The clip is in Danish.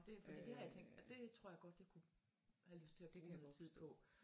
Det fordi det har jeg tænkt at det det tror jeg godt jeg kunne have lyst til at bruge noget tid på